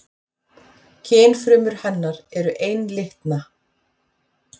Kynfrumur hennar eru einlitna.